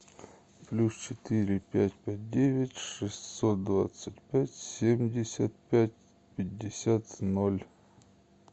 плюс четыре пять пять девять шестьсот двадцать пять семьдесят пять пятьдесят ноль